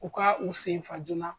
U ka u sen fa joona